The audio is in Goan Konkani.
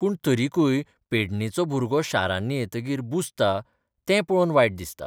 पूर्ण तरिकूय पेडणेचो भुरगो शारांनी येतकीर बुजता तें पळोवन वायट दिसता.